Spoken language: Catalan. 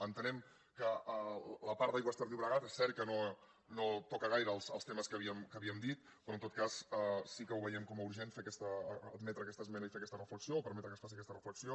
entenem que la part d’aigües ter llobre·gat és cert que no toca gaire els temes que havíem dit però en tot cas sí que ho veiem com a urgent admetre aquesta esmena i fer aquesta reflexió o permetre que es faci aquesta reflexió